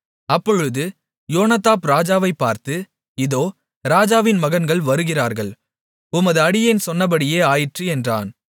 அப்பொழுது யோனதாப் ராஜாவைப் பார்த்து இதோ ராஜாவின் மகன்கள் வருகிறார்கள் உமது அடியேன் சொன்னபடியே ஆயிற்று என்றான்